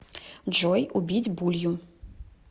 джой убить булью